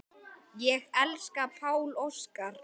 Ég elska Pál Óskar.